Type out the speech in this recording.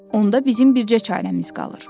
Onda bizim bircə çarəmiz qalır.